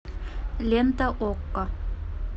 лента окко